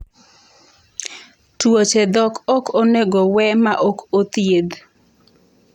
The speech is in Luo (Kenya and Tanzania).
Tuoche dhok ok onego we ma ok othiedh